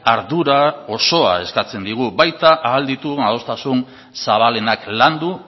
ardura osoa eskatzen digu baita ahal ditugun adostasun zabalenak landu